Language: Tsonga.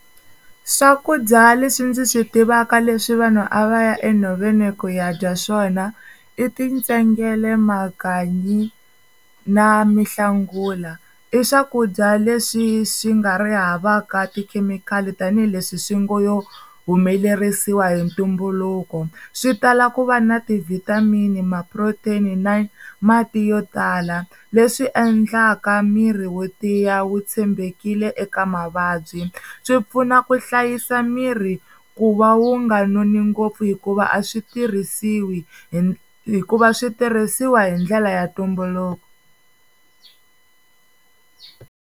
Swakudya leswi ndzi swi tivaka leswi vanhu a va ya enhoveni ku ya dya swona i tintsengele, makanyi na mihlangula, i swakudya leswi swi nga ri havaka tikhemikhali tanihileswi swi ngo yo humelerisiwa hi ntumbuluko swi tala ku va na ti-vitamin, ma-protein na mati yo tala leswi endlaka miri wo tiya wu tshembekile eka mavabyi, swi pfuna ku hlayisa miri ku va wu nga noni ngopfu hikuva a swi tirhisiwi hi hikuva swi tirhisiwa hi ndlela ya ntumbuluko.